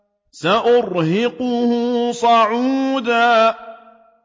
سَأُرْهِقُهُ صَعُودًا